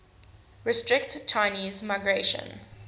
restrict chinese migration